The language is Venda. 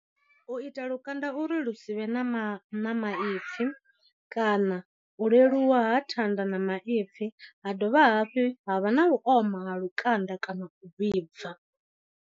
U ita lukanda uri lu si vhe na ma ma maipfi, kana u leluwa ha thanda na maipfi ha dovha hafhi ha vha na u oma ha lukanda kana u vhibva.